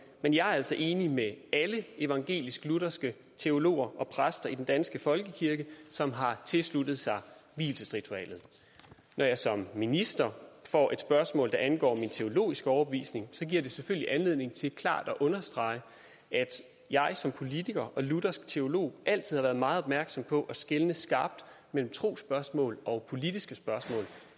men jeg er altså enig med alle evangelisk lutherske teologer og præster i den danske folkekirke som har tilsluttet sig vielsesritualet når jeg som minister får et spørgsmål der angår min teologiske overbevisning så giver det selvfølgelig anledning til klart at understrege at jeg som politiker og luthersk teolog altid har været meget opmærksom på at skelne skarpt mellem trosspørgsmål og politiske spørgsmål